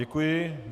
Děkuji.